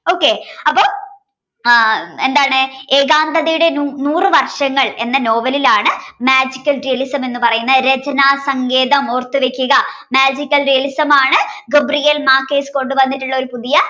okay അപ്പോ എന്താണ് ഏകാന്തതയുടെ നൂറു വർഷങ്ങൾ എന്ന നോവലിൽ ആണ് magical realism എന്ന് പറയുന്ന രചന സങ്കേതം ഓർത്തുവയ്ക്കുക magical realism ആണ് Gabriel Márquez കൊണ്ടുവന്നിട്ടുള്ള ഒരു പുതിയ